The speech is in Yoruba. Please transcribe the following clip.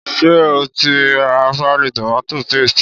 Ṣé o ti ra páálí tomato paste?